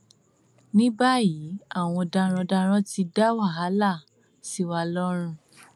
ní báyìí àwọn darandaran ti dá wàhálà sí wa lọrùn